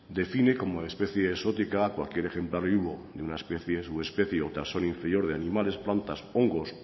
define como especie exótica cualquier ejemplar vivo de una especie o subespecie inferior de animales plantas hongos